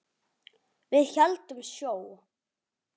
Við héldum sjó.